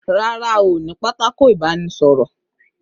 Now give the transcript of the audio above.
Rárá, ní pátákó ìbánísọ̀rọ̀